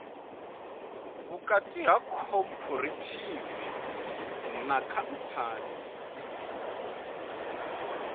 vhukati ha khophorethivi na khamphani